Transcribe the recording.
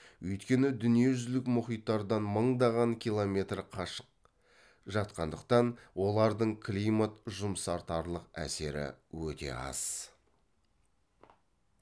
өйткені дүниежүзілік мұхиттардан мыңдаған километр қашық жатқандықтан олардың климат жұмсартарлық әсері өте аз